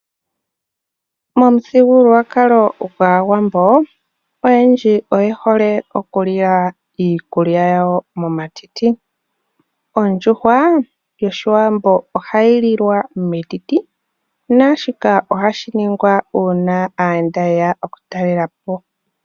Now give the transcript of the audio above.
Momuthigululwakalo gwAawambo oyendji oyehole oku lila iikulya yawo momatiti. Ondjuhwa yOshiwambo ohayi lilwa metiti naashika ohashi ningwa uuna aayenda yeya okutalelapo.